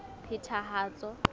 phethahatso